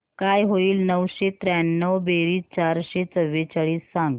काय होईल नऊशे त्र्याण्णव बेरीज चारशे चव्वेचाळीस सांग